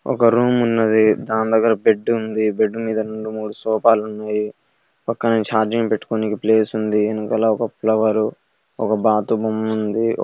ఒక్క రూమ్ ఉన్నది దాని దగ్గర బెడ్ ఉంది. బెడ్ మీద రెండు మూడు సోఫాలు ఉన్నాయి పక్కనే ఛార్జింగ్ పెట్టుకోవడానికి ప్లేస్ ఉంది వెనుకల ఒక్క ఫ్లవర్ ఒక్క బాతు బొమ్మ ఉంది.